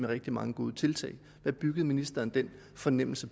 rigtig mange gode tiltag hvad byggede ministeren den fornemmelse